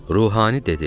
Ruhani dedi: